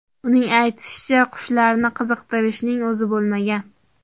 Uning aytishicha, qushlarni qiziqtirishning o‘zi bo‘lmagan.